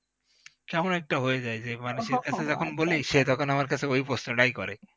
যেমন একটা হয়ে যায় যে মানে যখনই বলি সে তখন আমার কাছে ওই প্রশ্নটা করে